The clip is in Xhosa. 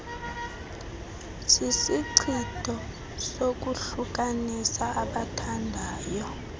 sisichitho sokuhlukanisa abathandayo